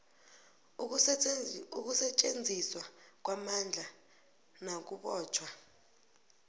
ukusetjenziswa kwamandla nakubotjhwa